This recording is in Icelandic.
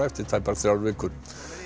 eftir tæpar þrjár vikur